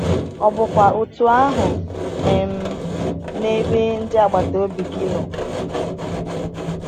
Ọ bụkwa otú ahụ um n’ebe ndị agbata obi gị nọ?